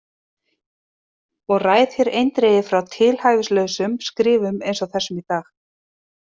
Og ræð þér eindregið frá tilhæfulausum skrifum eins og þessum í dag.